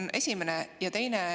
See on esimene.